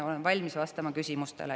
Olen valmis vastama küsimustele.